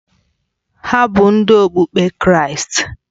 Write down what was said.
Ha bụ Ndị okpukpe Kraịst